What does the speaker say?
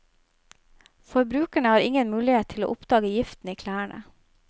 Forbrukerne har ingen mulighet til å oppdage giften i klærne.